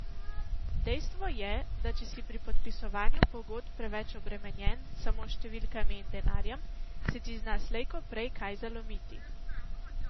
Dejstvo je, da če si pri podpisovanju pogodb preveč obremenjen samo s številkami in denarjem, se ti zna slej ko prej kaj zalomiti.